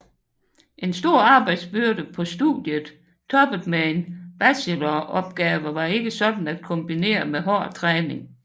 En stor arbejdsbyrde på studiet toppet med en bacheloropgave var ikke sådan at kombinere med hård træning